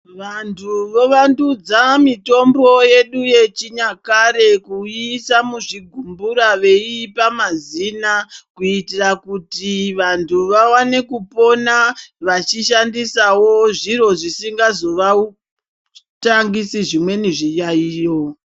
Vanthu vovandudza, mitombo yedu yechinyakare kuiisa muzvigumbura, veiipa mazina, kuitira kuti vanthu vawane kupona, vachishandisawo zviro zvisingazovatangisi zvimweni zviyaiyo.